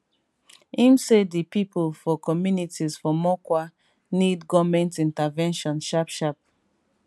im say di pipo for communities for mokwa need goment intervention sharpsharp